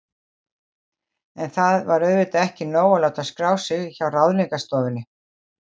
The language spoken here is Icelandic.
En það var auðvitað ekki nóg að láta skrá sig hjá Ráðningarstofunni.